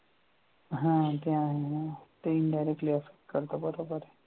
हा ते आहे ना ते indirectly असंच करत बरोबर